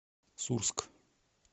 сурск